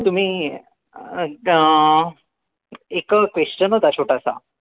तुम्ही अं एक question होता छोटासा